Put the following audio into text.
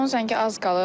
Son zəngə az qalıb.